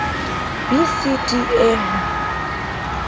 b c d e ho